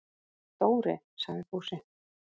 Dóri! sagði Fúsi.